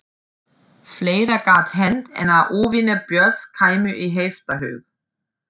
Fleira gat hent en að óvinir Björns kæmu í heiftarhug.